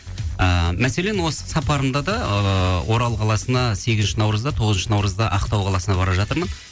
ыыы мәселен осы сапарымда да ыыы орал қаласына сегізінші наурызда тоғызыншы наурызда ақтау қаласына бара жатырмын